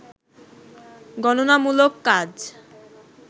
গণনামূলক কাজ